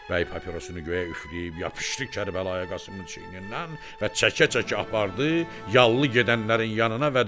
Bəy papirosunu göyə üfləyib yapışdı Kərbəlayı Qasımın çiynindən və çəkə-çəkə apardı yallı gedənlərin yanına və dedi: